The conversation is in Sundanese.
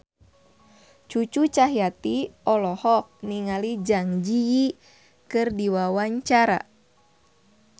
Cucu Cahyati olohok ningali Zang Zi Yi keur diwawancara